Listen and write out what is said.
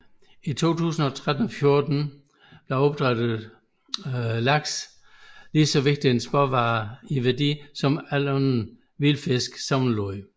I 2013 og 2014 er opdrættet laks lige så vigtig eksportvare i værdi som al anden vild fisk sammenlagt